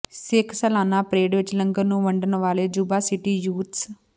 ਸਿੱਖ ਸਾਲਾਨਾ ਪਰੇਡ ਵਿਚ ਲੰਗਰ ਨੂੰ ਵੰਡਣ ਵਾਲੇ ਯੁਬਾ ਸਿਟੀ ਯੂਥਜ਼